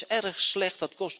Dat is erg slecht.